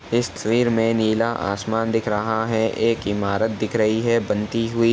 इस तस्वीर में नीला आसमान दिख रहा है | एक इमारत दिख रही है बनती हुई ।